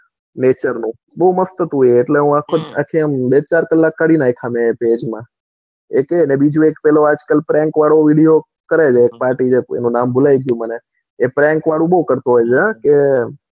nature નું બૌ મસ્ત હતું એ એટલે મેં બે ચાર કલાક કાઢી નાખ્યા મેં એ page માં એક એ ને બીજું આજકાલ prank વાળું video કરતો હોય એનું નામે ભૂલી ગયો હું pranks વાળું બૌ કરતો હોય છે હા.